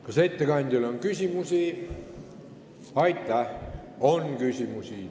Kas ettekandjale on küsimusi?